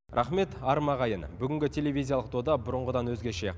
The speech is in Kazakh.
рақмет арма ағайын бүгінгі телевизиялық дода бұрынғыдан өзгеше